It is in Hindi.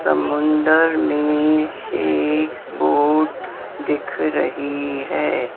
समुंद्र मे एक बोट दिख रही है।